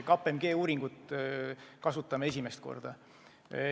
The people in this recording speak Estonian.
KPMG uuringut me kasutame esimest korda.